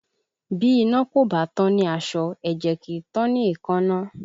Bí iná kò bá tán ní aṣọ, ẹ̀jẹ̀ kì í tán ni èékánná